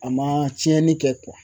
A man cɛnni kɛ